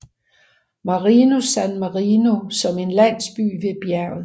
Marinus San Marino som en landsby ved bjerget